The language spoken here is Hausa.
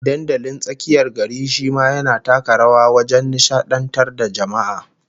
Dandalin tsakiyar gari shi ma yana taka rawa wajen nishadantar da jama'a